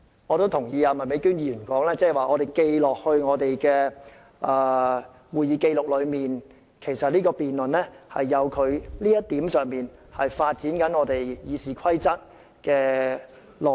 我認同麥美娟議員的說法指當我們今次的辯論列入會議紀錄後，其實就這一點而言，正正能發展《議事規則》的內容。